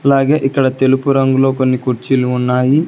అలాగే ఇక్కడ తెలుపు రంగులో కొన్ని కుర్చీలు ఉన్నాయి.